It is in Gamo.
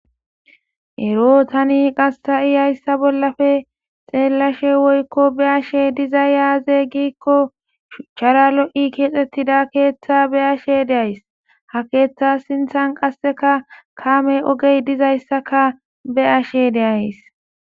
Eree tani ha'i hayissa bollappe xellaashshe woyikko be'ishshe azee gikko shuchchara lo'i kexxettidda keththa be'ashshe de'ayiss .haa keththa sinththanni qassekka kame oge dizayissakka be'ashshe dayiss.